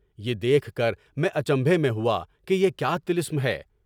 یہ دیکھ کر میں اچنبھے میں ہوا کہ یہ کیا طلسم ہے؟